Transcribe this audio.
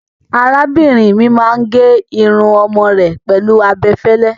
Arábìnrin mi máa ń gé irun ọmọ rẹ̀ pẹ̀lú abẹ fẹ́lẹ́.